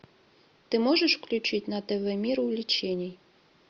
ты можешь включить на тв мир увлечений